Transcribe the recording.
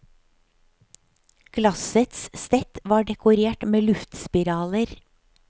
Glassets stett var dekorert med luftspiraler.